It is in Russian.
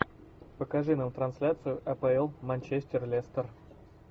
покажи нам трансляцию апл манчестер лестер